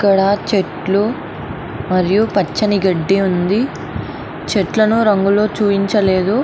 ఇక్కడా చెట్లు మరియు పచ్చని గడ్డి ఉంది. చెట్లును రంగుల్లో చూపించలేదు.